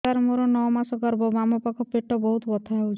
ସାର ମୋର ନଅ ମାସ ଗର୍ଭ ବାମପାଖ ପେଟ ବହୁତ ବଥା ହଉଚି